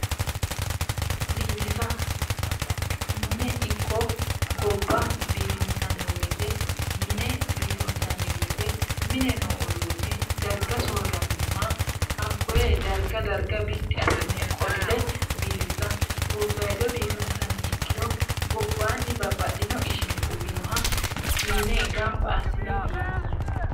Biifisa. Mine ikko gobba biifinsanni woyite mine biifinsanni woyite mine noo uduunne darga soorraminoha hakkoye darga darga biddi assine qolle biifisa. Gobbayidi biifinsanni ikkiro gobbanni babbaxxino ishini uwinoha fiine gamba assine biifisate.